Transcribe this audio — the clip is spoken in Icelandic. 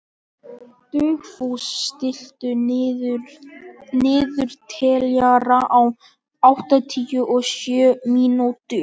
Dugfús, stilltu niðurteljara á áttatíu og sjö mínútur.